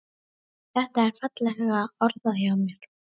Þetta er fallega orðað hjá mér.